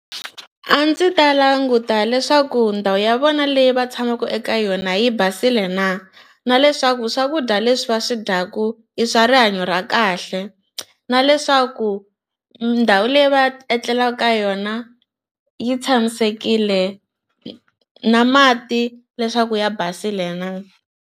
A ndzi ta languta leswaku ndhawu ya vona leyi va tshamaka eka yona yi basile na na leswaku swakudya leswi va swi dyaka i swa rihanyo ra kahle na leswaku ndhawu leyi va etlelaka ka yona yi tshamisekile na mati leswaku ya basile na.